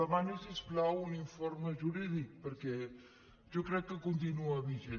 demani si us plau un informe jurídic perquè jo crec que continua vigent